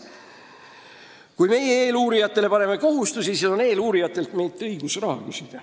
Kui meie paneme eeluurijatele kohustusi, siis on neil õigus meilt raha küsida.